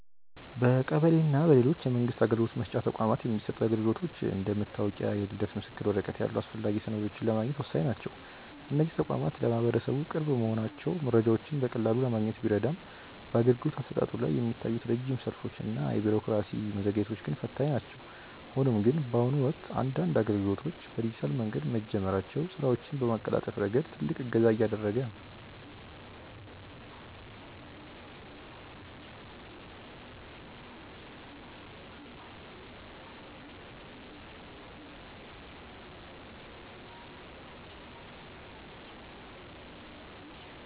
በቀበሌ እና በሌሎች የመንግስት አገልግሎት መስጫ ተቋማት የሚሰጡ አገልግሎቶች እንደ መታወቂያ እና የልደት ምስክር ወረቀት ያሉ አስፈላጊ ሰነዶችን ለማግኘት ወሳኝ ናቸው። እነዚህ ተቋማት ለማህበረሰቡ ቅርብ መሆናቸው መረጃዎችን በቀላሉ ለማግኘት ቢረዳም፣ በአገልግሎት አሰጣጡ ላይ የሚታዩት ረጅም ሰልፎች እና የቢሮክራሲ መዘግየቶች ግን ፈታኝ ናቸው። ሆኖም ግን፣ በአሁኑ ወቅት አንዳንድ አገልግሎቶች በዲጂታል መንገድ መጀመራቸው ስራዎችን በማቀላጠፍ ረገድ ትልቅ እገዛ እያደረገ ነው።